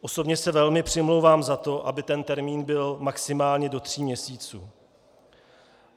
Osobně se velmi přimlouvám za to, aby ten termín byl maximálně do tří měsíců.